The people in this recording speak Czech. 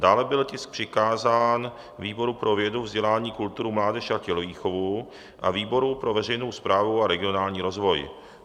Dále byl tisk přikázán výboru pro vědu, vzdělání, kulturu, mládež a tělovýchovu a výboru pro veřejnou správu a regionální rozvoj.